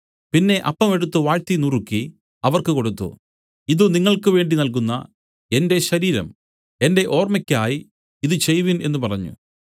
പിന്നെ അപ്പം എടുത്തു വാഴ്ത്തി നുറുക്കി അവർക്ക് കൊടുത്തു ഇതു നിങ്ങൾക്ക് വേണ്ടി നല്കുന്ന എന്റെ ശരീരം എന്റെ ഓർമ്മയ്ക്കായി ഇതു ചെയ്‌വിൻ എന്നു പറഞ്ഞു